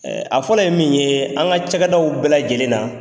a fɔlɔ ye min ye an ka cadaw bɛɛ lajɛlen na